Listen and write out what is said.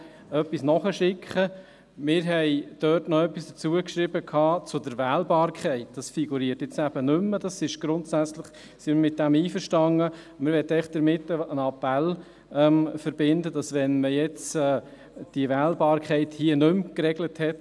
Ich wäre froh, wenn der Staatsschreiber etwas dazu sagen könnte, ob man sich bereits Gedanken zur Umsetzung dieses Artikels gemacht hat.